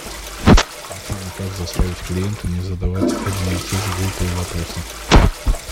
афина как заставить клиента не задавать одни и те же глупые вопросы